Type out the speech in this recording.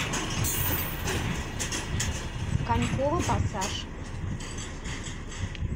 коньково пассаж